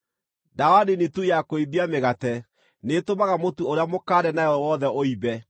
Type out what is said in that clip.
“Ndawa nini tu ya kũimbia mĩgate nĩĩtũmaga mũtu ũrĩa mũkande nayo wothe ũimbe.”